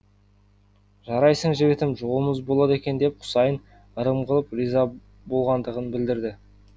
жарайсың жігітім жолымыз болады екен деп құсайын ырым қылып риза болғандығын білдірді